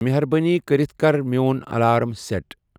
مہربٲنی کٔرِتھ کَٔر میون الارم سیٹ۔